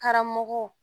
Karamɔgɔw